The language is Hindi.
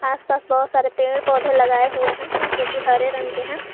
आस पास बहुत सारे पेड़ पौधे लगाए हुए है जोकि हरे रंग के है।